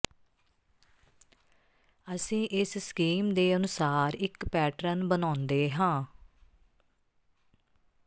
ਅਸੀਂ ਇਸ ਸਕੀਮ ਦੇ ਅਨੁਸਾਰ ਇਕ ਪੈਟਰਨ ਬਣਾਉਂਦੇ ਹਾਂ